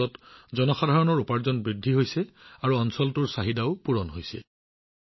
ইয়াৰ বাবে জনসাধাৰণৰ উপাৰ্জনো বৃদ্ধি পাইছে আৰু অঞ্চলটোৰ প্ৰয়োজনীয়তাও পূৰণ কৰা হৈছে